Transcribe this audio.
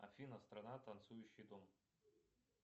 афина страна танцующий дом